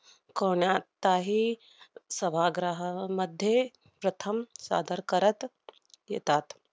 कोण्याचाही सभाग्रहामध्ये प्रथम सादर करत येतात.